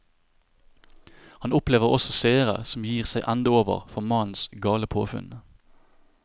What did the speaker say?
Han opplever også seere som gir seg ende over for mannens gale påfunn.